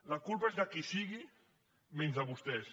la culpa és de qui sigui menys de vostès